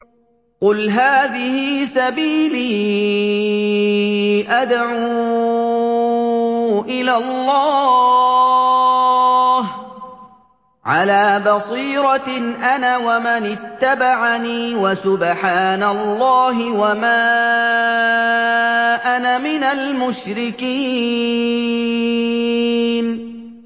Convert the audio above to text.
قُلْ هَٰذِهِ سَبِيلِي أَدْعُو إِلَى اللَّهِ ۚ عَلَىٰ بَصِيرَةٍ أَنَا وَمَنِ اتَّبَعَنِي ۖ وَسُبْحَانَ اللَّهِ وَمَا أَنَا مِنَ الْمُشْرِكِينَ